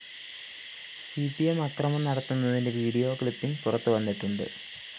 C P M അക്രമം നടത്തുന്നതിന്റെ video clipping പുറത്തുവന്നിട്ടുണ്ട്